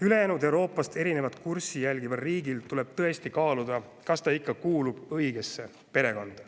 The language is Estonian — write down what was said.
Ülejäänud Euroopast erinevat kurssi järgival riigil tuleb tõesti kaaluda, kas ta ikka kuulub õigesse perekonda.